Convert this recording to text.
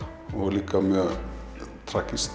líka mjög